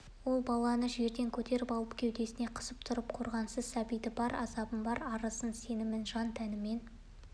ол баланы жерден көтеріп алып кеудесіне қысып тұрып қорғансыз сәбидің бар азабын бар арызын сенімін жан-тәнімен